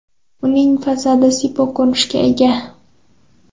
Uning fasadi sipo ko‘rinishga ega.